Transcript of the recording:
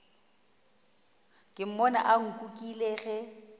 ke mmone a nkukile ge